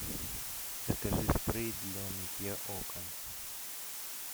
закажи спрей для мытья окон